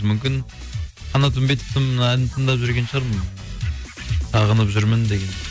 мүмкін қанат үмбетовтың әнін тыңдап жүрген шығармын сағынып жүрмін деген